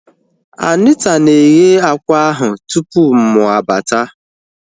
Anita na-eghe akwa ahu tupu mụ abata